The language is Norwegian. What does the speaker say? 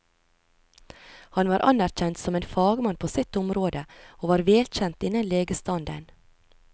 Han var anerkjent som en fagmann på sitt område, og var velkjent innen legestanden.